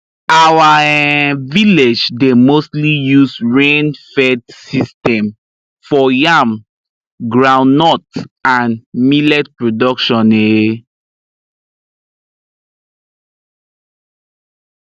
our um village dey mostly use rain fed system for yam groundnut and millet production um